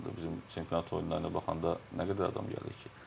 Bizim çempionat oyunlarına baxanda nə qədər adam gəlir ki.